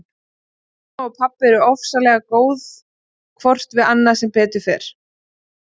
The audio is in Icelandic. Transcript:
Mamma og pabbi eru ofsalega góð hvort við annað sem betur fer.